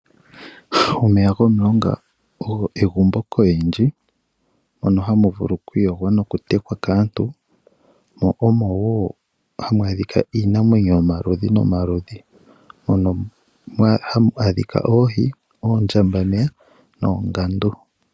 Omeya gomulonga ogo egumbo koyindji na oha mu vulu okwiiyogwa noku tekwa kaantu. Oha mu adhika iinamwenyo yomaludhi nomaludhi mwakwatelwa oohi, oondjambameya noongandu.